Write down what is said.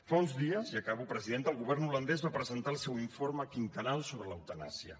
fa uns dies i acabo presidenta el govern holandès va presentar el seu informe quinquennal sobre l’eutanàsia